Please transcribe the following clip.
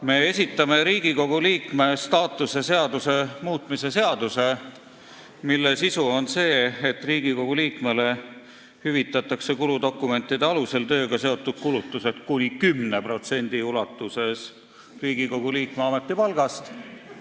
Me esitame Riigikogu liikme staatuse seaduse muutmise seaduse, mille sisu on see, et Riigikogu liikmele hüvitatakse kuludokumentide alusel tööga seotud kulutused kuni 10% ulatuses Riigikogu liikme ametipalgast.